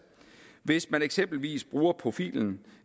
hvis man eksempelvis bruger profilen